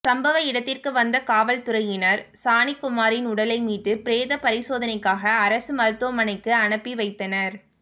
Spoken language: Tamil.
சம்பவ இடத்திற்கு வந்த காவல்துறையினர் சாணிக்குமாரின் உடலை மீட்டு பிரேத பரிசோதனைக்காக அரசு மருத்துவமனைக்கு அனுப்பி வைத்தனர்